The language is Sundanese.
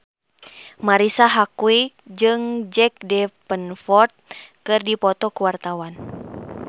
Marisa Haque jeung Jack Davenport keur dipoto ku wartawan